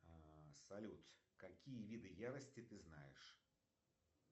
а салют какие виды ярости ты знаешь